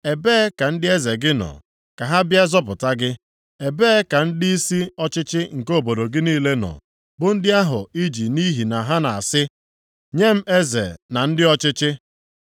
Ebee ka ndị eze gị nọ, ka ha bịa zọpụta gị? Ebee ka ndịisi ọchịchị nke obodo gị niile nọ, bụ ndị ahụ i ji nʼihi ha na-asị, ‘Nye m eze na ndị ọchịchị’?